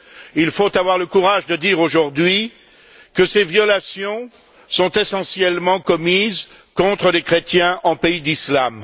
Il faut avoir le courage de dire aujourd'hui que ces violations sont essentiellement commises contre les chrétiens en pays d'islam.